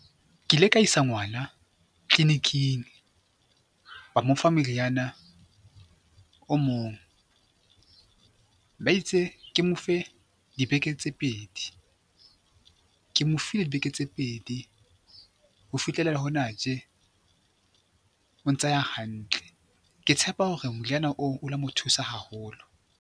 Ke ile ka isa ngwana clinic-ing ba mo fa moriana o mong, ba itse ke mo fe dibeke tse pedi. Ke mo file dibeke tse pedi ho fihlella hona tje o ntsa ya hantle, ke tshepa hore moriana oo o la mo thusa haholo.